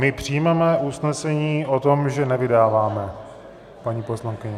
My přijmeme usnesení o tom, že nevydáváme paní poslankyni.